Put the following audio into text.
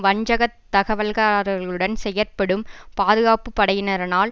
வஞ்சக தகவல்காரர்களுடன் செயற்படும் பாதுகாப்பு படையினரனால்